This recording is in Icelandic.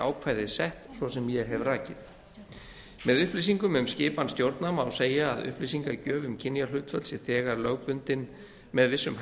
ákvæði sett svo sem ég hef rakið með upplýsingum um skipan stjórna má segja að upplýsingagjöf um kynjahlutföll sé þegar lögbundin með vissum